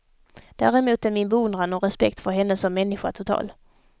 Däremot är min beundran och respekt för henne som människa total.